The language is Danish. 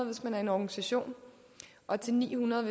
hvis man er en organisation og til ni hundrede